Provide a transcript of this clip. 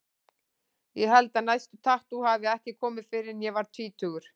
Ég held að næsta tattú hafi ekki komið fyrr en ég var tvítugur.